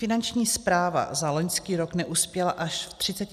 Finanční správa za loňský rok neuspěla až v 30 % případů.